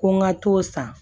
Ko n ka t'o san